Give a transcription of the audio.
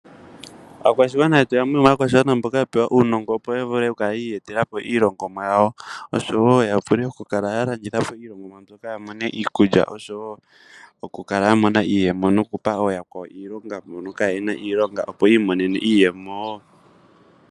Aakwashigwana yetu yamwe yomaakwashigwana mboka ya pewa uunongo opo ya vule oku kala yi iyetela po iilongomwa yawo oshowo ya vule oku kala ya landitha po iilongomwa mbyoka ya mone iikulya oshowo oku kala ya mona iiyemo noku pa yakwawo iilonga mboka kaayena iilonga , opo yi imonene iiyemo wo.